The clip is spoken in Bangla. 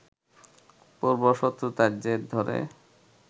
পূর্ব শত্রুতার জের ধরে